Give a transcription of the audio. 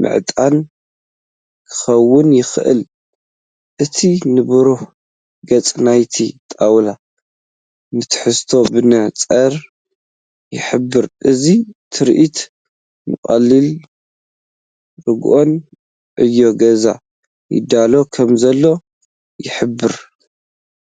ምዕጣን ክኸውን ይኽእል። እቲ ንብሩህ ገጽ ናይቲ ጣውላ ንትሕዝቶኡ ብንጹር ይሕብር። እዚ ትርኢት ንቐሊልን ርጉእን ዕዮ ገዛ ይዳሎ ከምዘሎ ይሕብር።